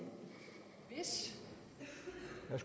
er